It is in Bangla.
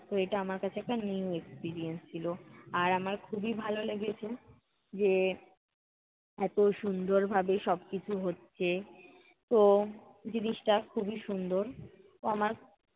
তো এটা আমার কাছে একটা new experience ছিলো। আর আমার খুবই ভালো লেগেছে যে এত সুন্দরভাবে সবকিছু হচ্ছে। তো, জিনিসটা খুবই সুন্দর। তো আমার